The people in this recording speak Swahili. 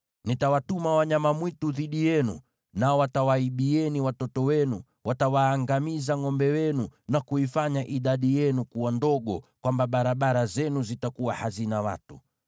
Nitawatuma wanyama mwitu dhidi yenu, nao watawaibieni watoto wenu, watawaangamiza ngʼombe wenu, na kuifanya idadi yenu kuwa ndogo, hivi kwamba barabara zenu zitakuwa hazina watu.